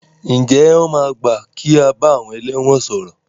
Ǹjẹ́ wọn máa gbà kí a bá àwọn ẹlẹ́wọ̀n sọ̀rọ̀?